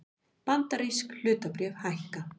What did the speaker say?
Bandarísk hlutabréf hækka